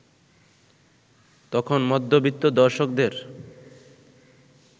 তখন মধ্যবিত্ত দর্শকদের